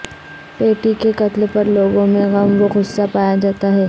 پیٹی کے قتل پر لوگوں میں غم و غصہ پایا جاتا ہے